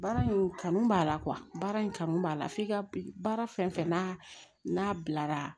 Baara in kanu b'a la baara in kanu b'a la f'i ka baara fɛn fɛn n'a bilara